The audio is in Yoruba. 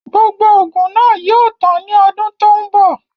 Gbogbo oògùn náà yìí ó tàn ni ọdún tòun bọ̀